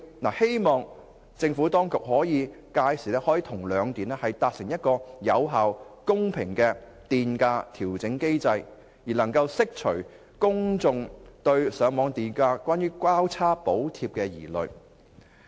我希望政府當局屆時可與兩電達成有效及公平的電費調整機制，以釋除公眾對上網電價出現"交叉補貼"的疑慮。